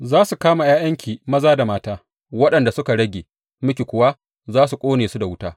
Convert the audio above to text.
Za su kama ’ya’yanki maza da mata, waɗanda suka rage miki kuwa za a ƙone su da wuta.